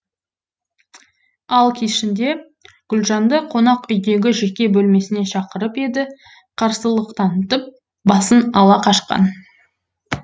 ал кешінде гүлжанды қонақ үйдегі жеке бөлмесіне шақырып еді қарсылық танытып басын ала қашқан